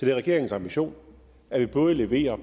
er regeringens ambition at vi både leverer